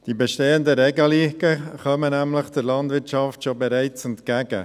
Die bestehenden Regelungen kommen nämlich der Landwirtschaft bereits entgegen.